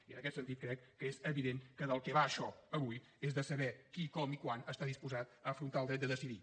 i en aquest sentit crec que és evident que del que va això avui és de saber qui com i quan està disposat a afrontar el dret a decidir